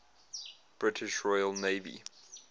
british royal navy